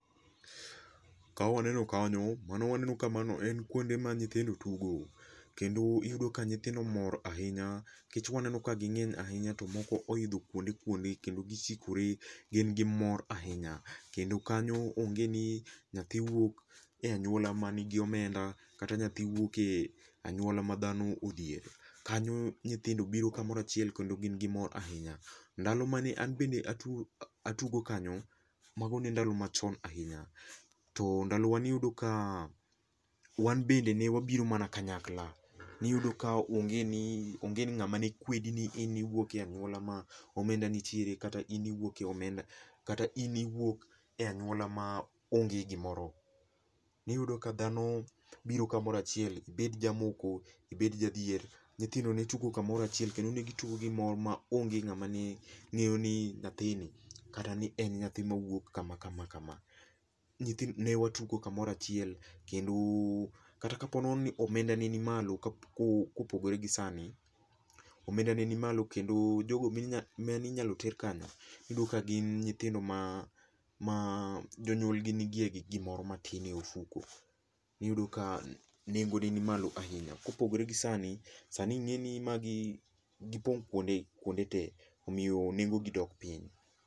Ka waneno kanyo, mano waneno ka mano en kuonde ma nyithindo tugo. Kendo iyudo ka nyithindo mor ahinya, nikech waneno ka ging'eny ahinya to moko oidho kuonde kuonde kendo gichikore gin gi mor ahinya. Kendo kanyo onge ni nyathi wuok e anywola ma nigi omenda, kata nyathi wuoke anywola ma dhano odhiere. Kanyo nyithindo biro kamoro achiel kendo gin gi mor ahinya. Ndalo mane an bende atugo kanyo, mago ne ndalo machon ahinya. To ndalowa niyudo ka, wan bende ne wabiro mana kanyakla .Niyudo ka onge ni, onge ni ng'ama ne kwedi ni in iwuok e anywola ma omenda nitiere kata in iwuok e anywola ma onge gimoro. Niyudo ka dhano biro kamoro achiel, ibed jamoko, ibed jadhier, nyithindo ne tugo kumoro achiel kendo ne gitugo gi mor ma onge ng'ama ne ng'eyo ni nyathini, kata ni en nyathi mawuok kama kamakama. Ne watugo kamoro achiel kendo kata ka po nono ni omenda ne ni malo, kopogore gi sani, omenda ne ni malo kendo jogo mane inyalo ter kanyo, iyudo ka gin nyithindo ma jonyuolgi nigi e gi gimoro matin e ofuko. Iyudo ka nengo ne ni malo ahinya. Kopogore gi sani, sani ing'eni magi, gipong' kuonde , kuonde te omiyo nengogi dok piny.